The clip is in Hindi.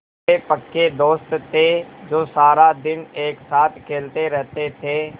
वे पक्के दोस्त थे जो सारा दिन एक साथ खेलते रहते थे